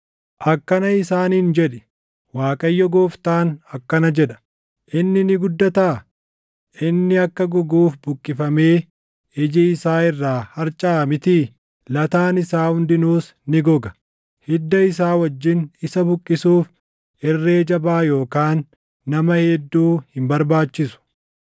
“Akkana isaaniin jedhi; ‘ Waaqayyo Gooftaan akkana jedha: Inni ni guddataa? Inni akka goguuf buqqifamee iji isaa irraa harcaʼa mitii? Lataan isaa hundinuus ni goga. Hidda isaa wajjin isa buqqisuuf irree jabaa yookaan nama hedduu hin barbaachisu.